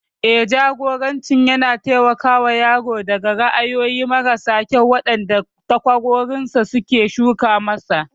Eh, Jagoranci yana taimakawa yaro daga ra'ayoyi mara kyau waɗanda takwarorinsa suka shuka masa.